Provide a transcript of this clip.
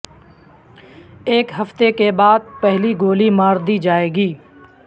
ایک ہفتے کے بعد پہلی گولی مار دی جائے گی